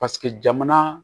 Paseke jamana